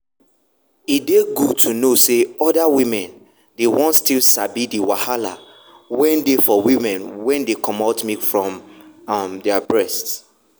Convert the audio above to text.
e dey good to know say other women dey won still sabi the wahala wen dey for women wen dey comot milk from um breast.